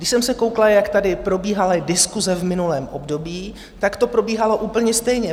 Když jsem se koukla, jak tady probíhaly diskuse v minulém období, tak to probíhalo úplně stejně.